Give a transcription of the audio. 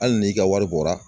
Hali n'i ka wari bɔra